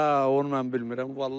Hə, onu mən bilmirəm vallah.